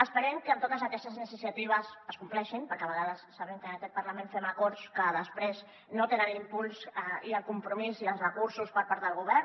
esperem que totes aquestes iniciatives es compleixin perquè a vegades sabem que en aquest parlament fem acords que després no tenen l’impuls i el compromís i els recursos per part del govern